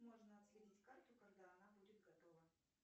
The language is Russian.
можно отследить карту когда она будет готова